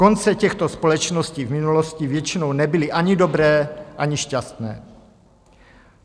Konce těchto společností v minulosti většinou nebyly ani dobré, ani šťastné.